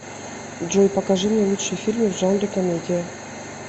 джой покажи мне лучшие фильмы в жанре комедия